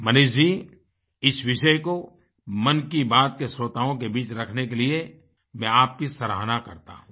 मनीष जी इस विषय को मन की बात के श्रोताओं के बीच रखने के लिए मैं आपकी सराहना करता हूँ